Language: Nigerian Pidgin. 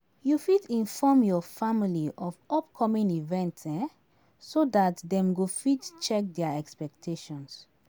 You fit inform your family of upcoming events um so dat dem go fit check their expectations